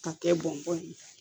K'a kɛ bɔn bɔn ye